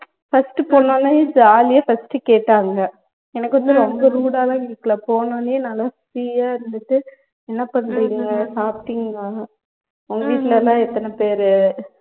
first போனோனே jolly ஆ first கேட்டாங்க எனக்கு வந்து ரொம்ப rude ஆ லாம் கேக்கல போனோனே நாலாம் free ஆ இருந்துட்டு என்ன பண்ணுறிங்க சாப்பிட்டிங்களா உங்க வீட்டுலலாம் எத்தன பேரு